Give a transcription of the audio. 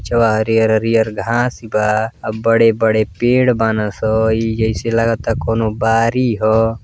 पिछवा हरिहर हरिहर घांस बा आ बड़े-बड़े पेड़ बानअ सन इ जैसे लागता कौनो बारी ह।